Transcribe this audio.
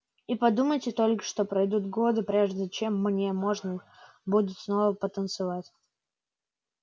и подумать только что пройдут годы прежде чем мне можно будет снова потанцевать